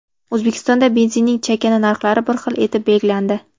O‘zbekistonda benzinning chakana narxlari bir xil etib belgilandi.